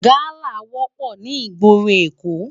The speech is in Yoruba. Gàlá wòpò ni igbóró Ékó